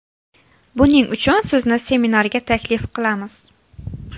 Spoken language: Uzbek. Buning uchun sizni seminarga taklif qilamiz.